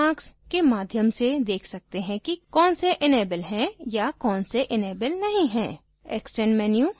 हम check marks के माध्यम से check सकते हैं कि कौन से एनेबल है या कौन से एनेबल नहीं है